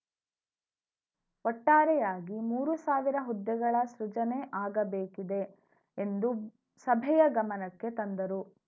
ಒಟ್ಟಾರೆಯಾಗಿ ಮೂರು ಸಾವಿರ ಹುದ್ದೆಗಳ ಸೃಜನೆ ಆಗಬೇಕಿದೆ ಎಂದು ಸಭೆಯ ಗಮನಕ್ಕೆ ತಂದರು